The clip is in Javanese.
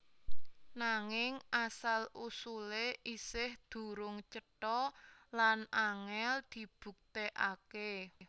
Nanging asal usulé isih durung cetha lan angèl dibuktèkaké